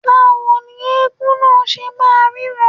Báwo ni eégún náà ṣe máa ríran..